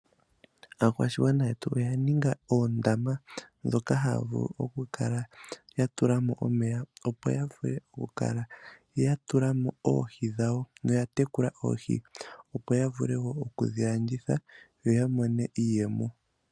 Aakwashigwana yetu oyaninga oondama dhoka haya vulu okukala yatulamo omeya opo yavule okukala yatulamo oohi dhawo noya tekule oohi. Yo yavule wo okudhi landitha yo yamone iiyemo.